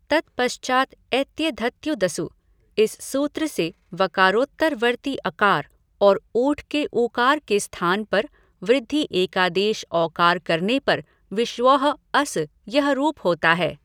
तत्पश्चात् एत्येधत्यूद्सु इस सूत्र से वकारोत्तरवर्ति अकार और ऊठ् के ऊकार के स्थान पर वृद्धि एकादेश औकार करने पर विश्वौह् अस् यह रूप होता है।